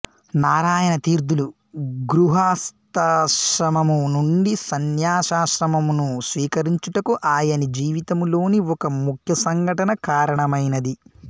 నారాయణ తీర్థులు గృహస్తాశ్రమము నుండి సన్యాసాశ్రమమును స్వీకరించుటకు ఆయని జీవితము లోని ఒక ముఖ్య సంఘటన కారణమైనది